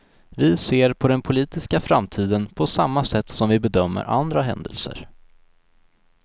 Vi ser på den politiska framtiden på samma sätt som vi bedömer andra händelser.